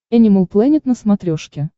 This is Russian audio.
энимал плэнет на смотрешке